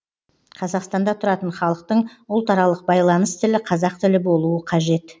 қазақстанда тұратын халықтың ұлтаралық байланыс тілі қазақ тілі болуы қажет